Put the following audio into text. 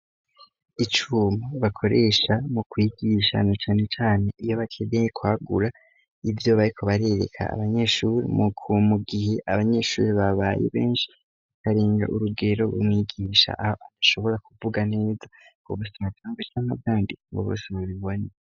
Icuma bakoresha mu kwigisha cane cane iyo bakeneye kwagura ivyo bariko barereka abanyeshure mugihe abanyeshure babaye benshi bakarenga urugero b'umwigisha aho adashobora kuvuga neza ngo bose babibone.